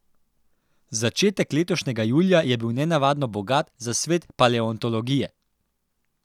Začetek letošnjega julija je bil nenavadno bogat za svet paleontologije.